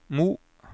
Mo